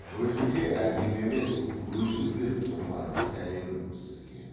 бөжіке әкем емес өзім беріп тұрған сәлемім сізге